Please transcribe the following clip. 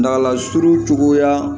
Dagalan suru cogoya